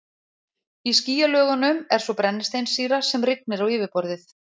Í skýjalögunum er svo brennisteinssýra sem rignir á yfirborðið.